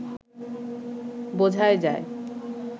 বোঝাই যায়